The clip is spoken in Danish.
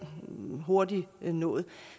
hurtigt nået